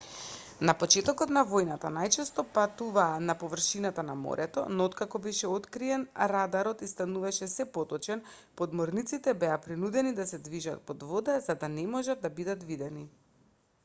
на почетокот на војната најчесто патуваа на површината на морето но откако беше откриен радарот и стануваше сѐ поточен подморниците беа принудени да се движат под вода за да не можат да бидат видени